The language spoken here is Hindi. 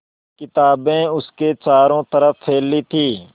किताबें उसके चारों तरफ़ फैली थीं